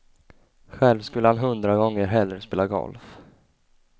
Själv skulle han hundra gånger hellre spela golf.